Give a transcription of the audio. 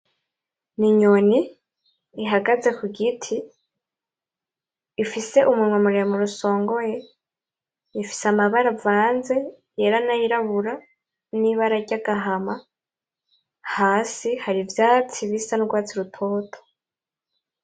N'inyoni ihagaze kugiti ifise umunwa muremure usongoye ifise amabara avanze ayera nayirabura nibara ry'agahama hasi hari ivyatsi bisa nugwatsi rutoto.